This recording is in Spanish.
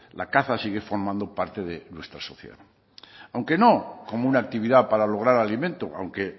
la caza sigue formando parte de nuestra sociedad aunque no como una actividad para lograr alimento aunque